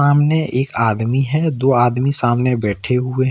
सामने एक आदमी है दो आदमी सामने बैठे हुए हैं।